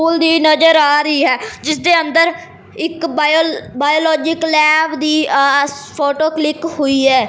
ਪੁੱਲ ਦੀ ਨਜ਼ਰ ਆ ਰਹੀ ਹੈ ਜਿਸਦੇ ਅੰਦਰ ਇੱਕ ਬਾਇਓ ਬਾਇਓਲੋਜਿਕ ਲੈਬ ਦੀ ਆ ਫ਼ੋਟੋ ਕਲਿੱਕ ਹੋਈ ਹੈ।